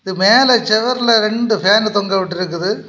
இது மேல செவர்ல இரண்டு ஃபேன் தொங்கவிட்டுருக்குது.